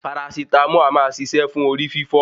Parasítámọ̀ a máa ṣiṣẹ́ fún orí fífọ́.